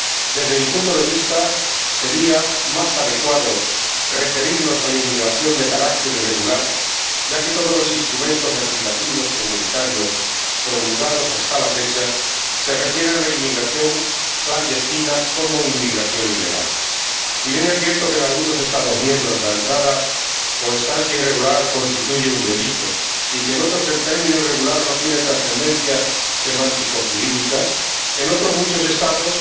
Desde mi punto de vista sería más adecuado referirnos a la inmigración de carácter irregular, ya que todos los instrumentos legislativos comunitarios promulgados hasta la fecha se refieren a la inmigración clandestina como inmigración ilegal. Si bien es cierto que en algunos Estados miembros la entrada o estancia irregular constituye un delito y que en otros el término irregular no tiene transcendencia semántico jurídica, en otros muchos Estados